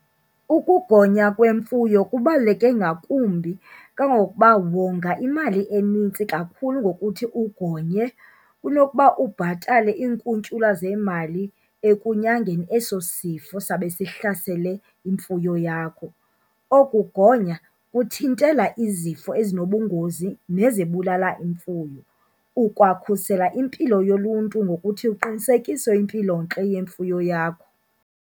Ukugonywa kwemfuyo kubaluleke ngakumbi kangangokuba wonga imali enintsi kakhulu ngokuthi ugonye kunokuba ubhatale iinkuntyula zeemali ekunyangeni eso sifo sawube sihlasele imfuyo yakho. Oku kugonya kuthintela izifo ezinobungozi nezibulala imfuyo ukwakhusela impilo yoluntu ngokuthi uqinisekise impilontle yemfuyo yakho.